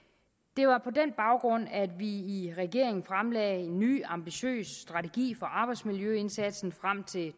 det var på den baggrund at vi i regeringen fremlagde en ny ambitiøs strategi for arbejdsmiljøindsatsen frem til